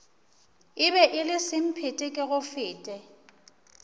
e be e le semphetekegofete